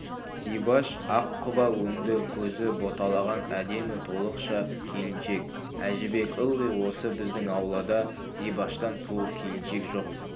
зибаш ақ құба өңді көзі боталаған әдемі толықша келіншек әжібек ылғи осы біздің ауылда зибаштан сұлу келіншек жоқ